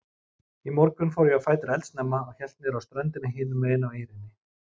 Í morgun fór ég á fætur eldsnemma og hélt niðrá ströndina hinumegin á eynni.